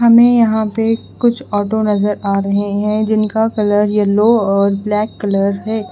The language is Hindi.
हमें यहां पे कुछ ऑटो नजर आ रहे हैं जिनका कलर येलो और ब्लैक कलर है।